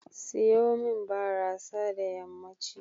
Seyo min barasa da yammanci.